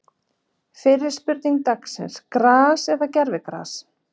Fyrri spurning dagsins: Gras eða gervigras?